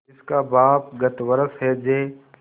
जिसका बाप गत वर्ष हैजे